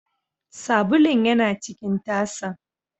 Sabulun yana cikin tasan.